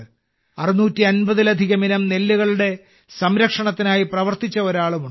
650 ലധികം ഇനം നെല്ലുകളുടെ സംരക്ഷണത്തിനായി പ്രവർത്തിച്ച ഒരാളുമുണ്ട്